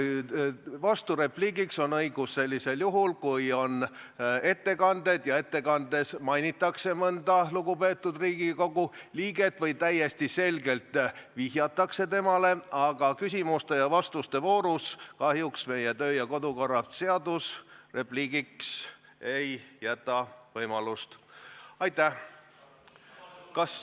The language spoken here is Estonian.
Vasturepliigiks on õigus siis, kui on ettekanded ja ettekandes mainitakse mõnda lugupeetud Riigikogu liiget või täiesti selgelt vihjatakse temale, aga küsimuste ja vastuste voorus kahjuks meie kodu- ja töökorra seadus repliigivõimalust ei anna.